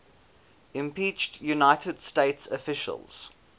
impeached united states officials